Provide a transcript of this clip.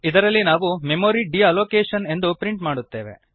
ಇದರಲ್ಲಿ ನಾವು memory deallocation ಎಂದು ಪ್ರಿಂಟ್ ಮಾಡುತ್ತೇವೆ